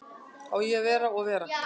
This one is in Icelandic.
Að eiga að vera og vera